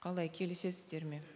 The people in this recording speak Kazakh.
қалай келісесіздер ме